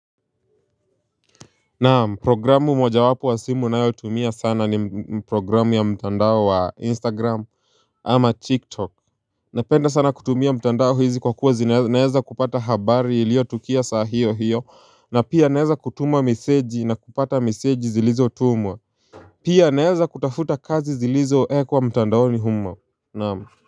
Naam programu moja wapo wa simu nayo tumia sana ni programu ya mtandao wa instagram ama tiktok. Napenda sana kutumia mtandao hizi kwa kuwa zinaeza kupata habari ilio tukia saa hiyo hiyo na pia naeza kutuma meseji na kupata meseji zilizotumwa. Pia naeza kutafuta kazi zilizo ekwa mtandaoni humo naamu.